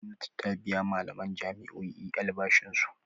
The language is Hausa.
Gwamnati ta biya malaman jami'o'i albashinsu.